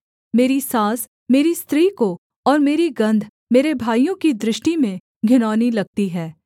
मेरी साँस मेरी स्त्री को और मेरी गन्ध मेरे भाइयों की दृष्टि में घिनौनी लगती है